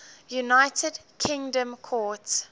united kingdom court